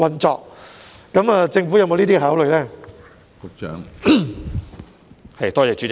政府有否考慮這樣做？